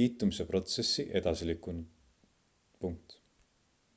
liitumise protsessi edasi lükanud